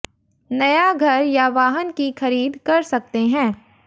नया घर या वाहन की खरीद कर सकते हैं